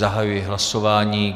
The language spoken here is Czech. Zahajuji hlasování.